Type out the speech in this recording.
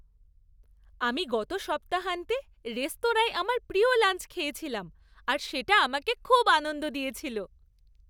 আমি গত সপ্তাহান্তে রেস্তোরাঁয় আমার প্রিয় লাঞ্চ খেয়েছিলাম আর সেটা আমাকে খুব আনন্দ দিয়েছিল।